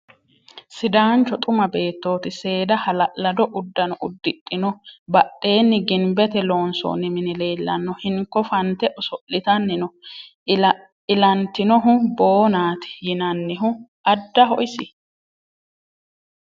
Sidaancho xuma beettooti. Seeda hala'lado uddano uddidhino. Badheenni ginbete loonsoonni mini leellanno. Hinko fante oso'litanni no. Ilantinohu boonaati yinannihu addaho isi ?